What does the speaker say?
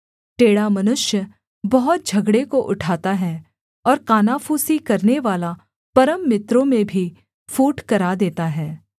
टेढ़ा मनुष्य बहुत झगड़े को उठाता है और कानाफूसी करनेवाला परम मित्रों में भी फूट करा देता है